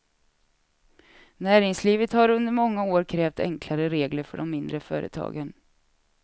Näringslivet har under många år krävt enklare regler för de mindre företagen.